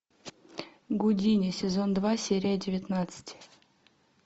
гудини сезон два серия девятнадцать